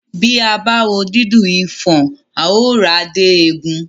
Bí a bá wo dídùn ifọ̀n, àá họ ara dé egun